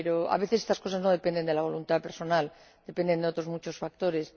Pero, a veces, estas cosas no dependen de la voluntad personal, dependen de otros muchos factores.